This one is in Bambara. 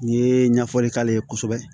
N'i ye ɲɛfɔli k'ale ye kosɛbɛ